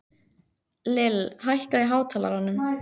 Lill, hækkaðu í hátalaranum.